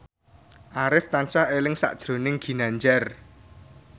Arif tansah eling sakjroning Ginanjar